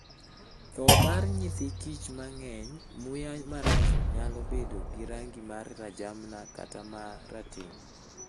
Tho mar nyithi kich mang'eny, muya marach nyalo bedo gi rangi ma rajamna kata ma rateng '.